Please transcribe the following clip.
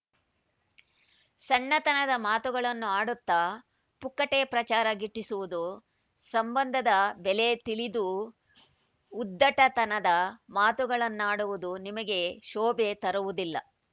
ಸಣ್ಣತನದ ಮಾತುಗಳನ್ನು ಆಡುತ್ತಾ ಪುಕ್ಕಟ್ಟೆ ಪ್ರಚಾರ ಗಿಟ್ಟಿಸುವುದು ಸಂಬಂಧದ ಬೆಲೆ ತಿಳಿದೂ ಉದ್ದಟತನದ ಮಾತುಗಳನ್ನಾಡುವುದು ನಿಮಗೆ ಶೋಭೆ ತರುವುದಿಲ್ಲ